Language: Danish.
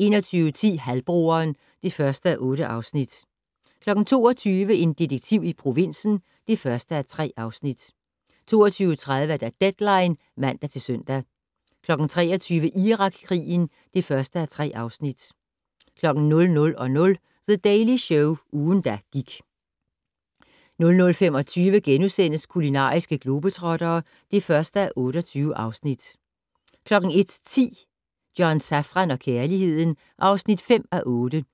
21:10: Halvbroderen (1:8) 22:00: En detektiv i provinsen (1:3) 22:30: Deadline (man-søn) 23:00: Irakkrigen (1:3) 00:00: The Daily Show - ugen, der gik 00:25: Kulinariske globetrottere (1:28)* 01:10: John Safran og kærligheden (5:8) 01:35: